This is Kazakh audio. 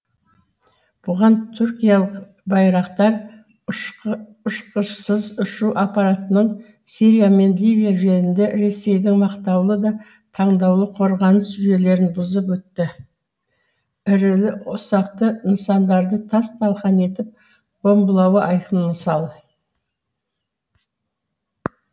бұған түркиялық байрақтар ұшқышсыз ұшу аппаратының сирия мен ливия жерінде ресейдің мақтаулы да таңдаулы қорғаныс жүйелерін бұзып өтіп ірілі ұсақты нысандарды тас талқан етіп бомбалауы айқын мысал